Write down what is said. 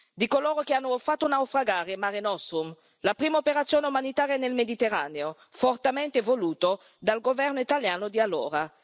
di coloro che hanno fatto naufragare Mare Nostrum, la prima operazione umanitaria nel Mediterraneo, fortemente voluta dal governo italiano di allora